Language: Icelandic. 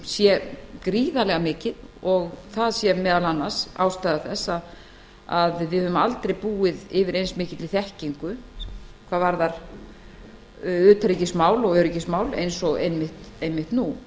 sé meðal annars ástæða þess að við höfum aldrei búið yfir eins mikilli þekkingu í utanríkis og öryggismálum og einmitt nú